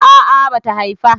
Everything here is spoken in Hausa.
a'a bata Haifa